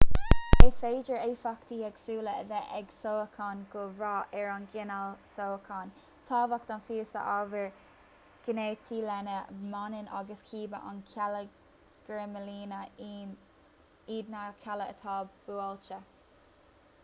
is féidir éifeachtaí éagsúla a bheith ag sócháin ag brath ar an gcineál sócháin tábhacht an phíosa ábhair ghéinitigh lena mbaineann agus cibé an cealla geirmlíne iad na cealla atá buailte